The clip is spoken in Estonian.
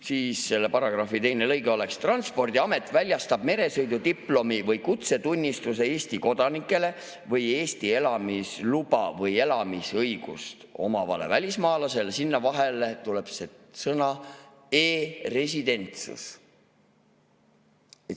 Siis selle paragrahvi teine lõige oleks, et Transpordiamet väljastab meresõidudiplomi või kutsetunnistuse Eesti kodanikule või Eesti elamisluba või elamisõigust omavale välismaalasele, ning sinna vahele tuleb sõna "e‑residentsus".